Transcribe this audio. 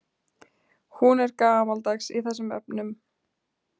Hún er gamaldags í þessum efnum.